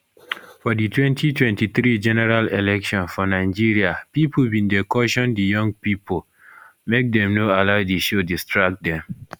for di 2023 general election for nigeria pipo bin dey caution di young pipo make dem no allow di show distract dem